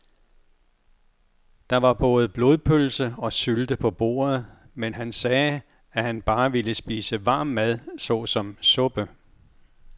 Der var både blodpølse og sylte på bordet, men han sagde, at han bare ville spise varm mad såsom suppe.